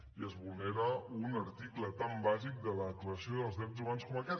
i es vulnera un article tan bàsic de la declaració dels drets humans com aquest